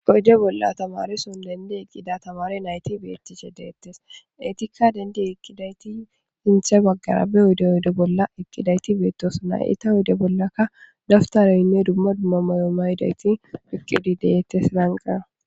Oyde bolla tamareson dendi eqida tamare nayti betishe deetees eetika dendi eqidayti sinthe bagara be oyde oyde bolla eqidayti beetossonna eeta oyde bollaka dabtareynne dumma dumma mayo mayidayti eqidi de'etees.